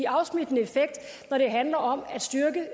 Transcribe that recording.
afsmittende effekt når det handler om